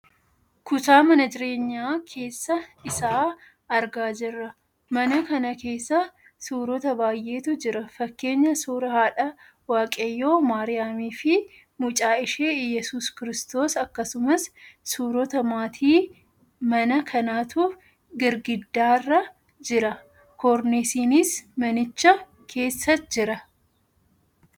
Kutaa Mana jireenyaa keessa isaa argaa jirra. Mana kana keessa suurota baayyeetu jiru fakkeenyaa suuraa haadha waaqayyoo Maariyaamiifi mucaa ishee Iyeesuus kristoos akkasumas suurota maatii mana kanaatu girgiddaarra jira. Koorneesiinis manicha keessa jira.